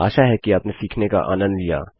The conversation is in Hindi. आशा है कि आपने सीखने का आनन्द लिया